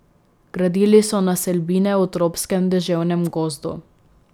Gradili so naselbine v tropskem deževnem gozdu.